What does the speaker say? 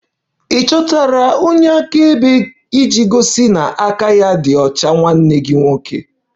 Ị chọtara onye akaebe iji gosi na aka ya dị ọcha nwanne gị nwoke?